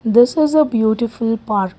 this is a beautiful park.